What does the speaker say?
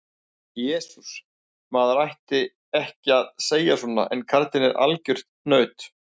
Jesús, maður ætti ekki að segja svona en karlinn er algjört naut.